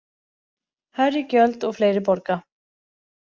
Hærri gjöld og fleiri borga